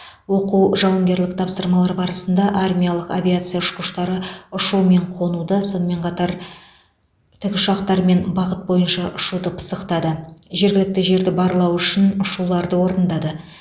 оқу жауынгерлік тапсырмалар барысында армиялық авиация ұшқыштары ұшу мен қонуды сонымен қатар тікұшақтарымен бағыт бойынша ұшуды пысықтады жергілікті жерді барлау үшін ұшуларды орындады